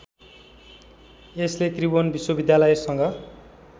यसले त्रिभुवन विश्वविद्यालयसँग